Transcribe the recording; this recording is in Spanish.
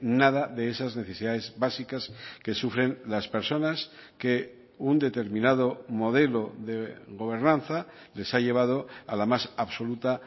nada de esas necesidades básicas que sufren las personas que un determinado modelo de gobernanza les ha llevado a la más absoluta